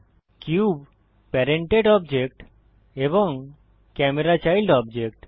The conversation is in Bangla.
কিউব প্যারেন্টেড অবজেক্ট এবং ক্যামেরা চাইল্ড অবজেক্ট